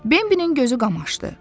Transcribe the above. Bembənin gözü qamaşdı.